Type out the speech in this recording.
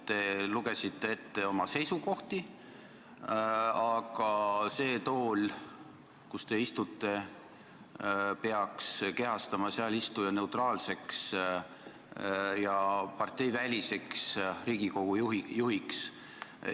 Te lugesite ette oma seisukohti, aga see tool, kus te istute, peaks panema teid kehastuma neutraalseks ja parteiväliseks Riigikogu juhiks.